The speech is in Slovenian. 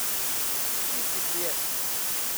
Tisti prijetni.